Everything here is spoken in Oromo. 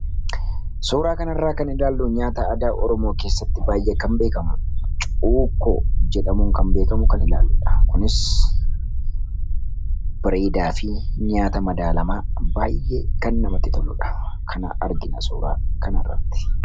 sooraa kanarraa kan ilaallu nyaata ada ormoo keessatti baay'ee kan beekamu uukoo jedhamuun kan beekamu kan ilaalludha kunis bireedaa fi nyaata madaalamaa baay'ee kan namatti tolludha kana argina sooraa kan arratti